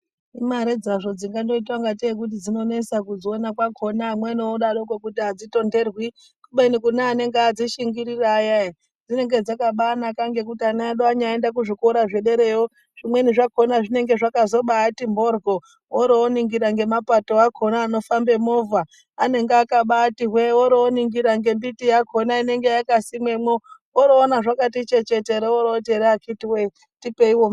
Imare dzazvo dzingangoita kungatei kuti dzinonesa kudziona kwakona ,amweni odaroko kuti adzitonherwi kubeni kune anenge adzishingirira aya ere dzinenge dzakaba anaka ngekuti ana edu anyaenda kuzvikora zvederayo zvimweni zvakona zvinonga zvakabazoti mhoryo orooningira ngemapato akona anofambe movha anonga akabati hwe orooningira nemiti inongayakasimwemwo oroona zvakati chechetere orooti akitiwe tipeiwo......